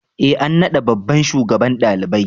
E an naɗa babban shugaban ɗalibai.